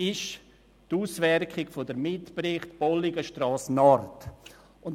Es geht dabei um die Auswertung der Mitberichte zur Bolligenstrasse Nord.